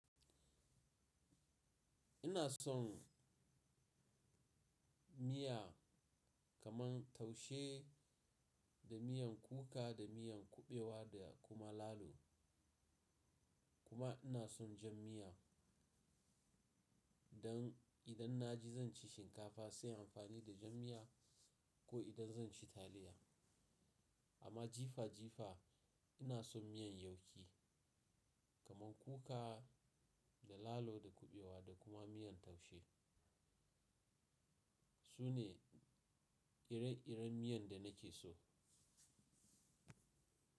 Ina son miya kaman taushe da miyan kuka, da miyan kuɓewa da kuma lalo. Kuma ina son jan miya. Dan idan na ji zan ci shinkafa sai im amfani da jan miya ko idan zan ci taliya. Amma jifa-jifa ina son miyan yauki kaman kuka da lalo, da kuɓewa da kuma miyan taushe. Su ne ire-iren miyan da nake so.